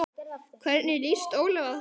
Hvernig lýst Ólafi á það?